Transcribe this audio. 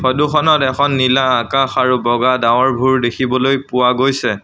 Photo খনত এখন নীলা আকাশ আৰু বগা ডাৱৰঘোৰ দেখিবলৈ পোৱা গৈছে।